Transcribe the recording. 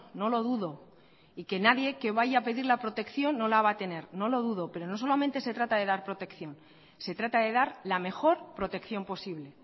no lo dudo y que nadie que vaya a pedir la protección no la va a tener no lo dudo pero no solamente se trata de dar protección se trata de dar la mejor protección posible